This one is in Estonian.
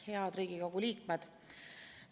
Head Riigikogu liikmed!